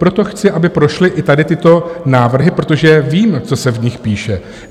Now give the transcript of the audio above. Proto chci, aby prošly i tady tyto návrhy, protože vím, co se v nich píše.